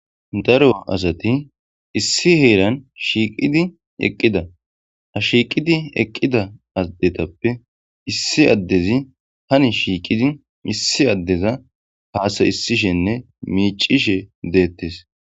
Daro asati issi heeran shiiqidi eqqida ha shiiqidi eqqida addetappe issi addezi hani shiiqidi issi addeza haasa issishenne miicishe deettes.